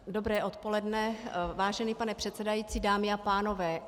Dobré odpoledne, vážený pane předsedající, dámy a pánové.